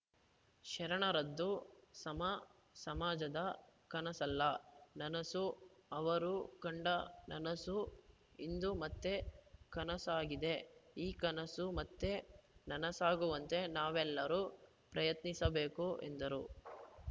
ಶರಣರದ್ದು ಸಮ ಸಮಾಜದ ಕನಸಲ್ಲ ನನಸು ಅವರು ಕಂಡ ನನಸು ಇಂದು ಮತ್ತೆ ಕನಸಾಗಿದೆ ಈ ಕನಸು ಮತ್ತೆ ನನಸಾಗುವಂತೆ ನಾವೆಲ್ಲರೂ ಪ್ರಯತ್ನಿಸಬೇಕು ಎಂದರು